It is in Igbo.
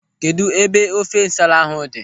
Kedụ ebe ofe nsala ahụ dị?